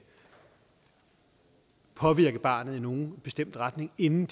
påvirke barnet i nogen bestemt retning inden